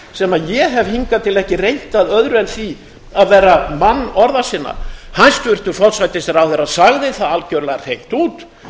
sem ég hef hingað til ekki reynt að öðru en því að vera mann orða sinna hæstvirtur forsætisráðherra sagði það algjörlega hreint út